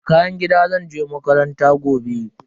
Da kayan gida zan je makaranta gobe.